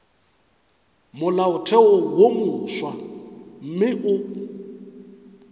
molaotheo wo mofsa mme o